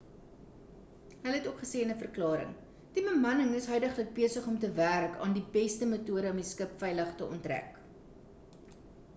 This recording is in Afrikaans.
hulle het ook gesê in 'n verklaring die bemanning is huidiglik besig om te werk aan die beste metode om die skip veilig te onttrek